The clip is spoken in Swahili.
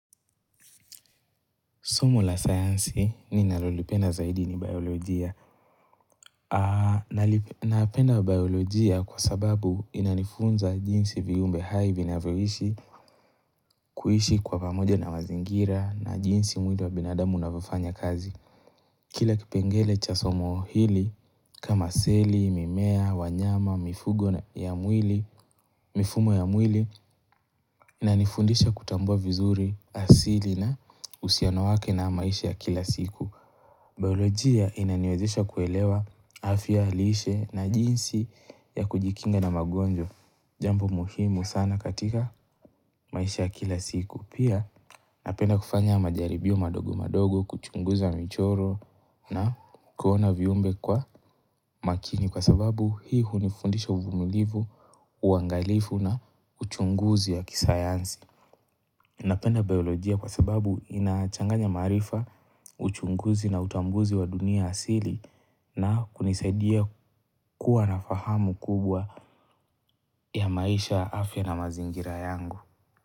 Somo la science ninalolipenda zaidi ni biolojia. Napenda biolojia kwa sababu inanifunza jinsi viumbe hai vinavyoishi kuishi kwa pamoja na mazingira na jinsi mwili wa binadamu unavyofanya kazi. Kila kipengele cha somo hili kama seli, mimea, wanyama, mifugo ya mwili, mifumo ya mwili, inanifundisha kutambua vizuri, asili na uhusiano wake na maishi ya kila siku. Biolojia inaniwezesha kuelewa afya lishe na jinsi ya kujikinga na magonjwa Jambo muhimu sana katika maisha ya kila siku Pia napenda kufanya majaribio madogo madogo kuchunguza michoro na kuona viumbe kwa makini Kwa sababu hii hunifundisha uvumilivu uangalifu na uchunguzi ya kisayansi Napenda biolojia kwa sababu inachanganya maarifa uchunguzi na utambuzi wa dunia asili na kunisaidia kuwa na fahamu kubwa ya maisha afya na mazingira yangu.